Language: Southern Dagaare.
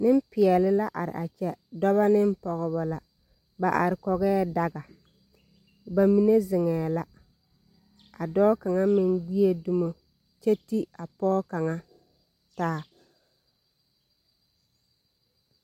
Nempeɛle la araa kyɛ, dɔbɔ ne pɔgebɔ. Ba mine zeŋɛɛ la, ka dɔɔ kaŋa meŋ ti a pɔge kaŋa taa.